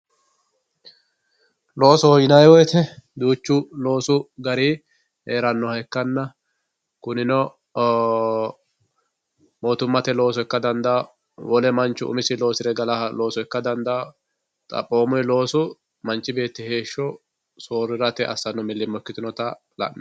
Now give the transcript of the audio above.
Loosoho yinayi woyite duuchu loosu gari heeraha ikana kunino ooo mootumate looso ika dandawo wole manchu umisi looso losire galawoha ika dandawoo xaphomuyi loosu manchi beeti soorirate asanota laneemo